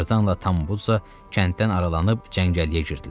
Tarzanla Tambuca kənddən aralanıb cəngəlliyə girdilər.